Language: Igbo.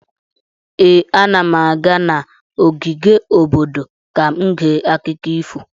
Ee, ana m aga n'ogige obodo ka m gee akụkọ ifo.